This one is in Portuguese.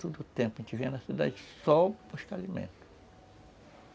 Tudo o tempo a gente vinha na cidade só para buscar alimento.